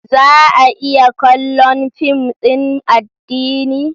Za a iya kallon fim din addini?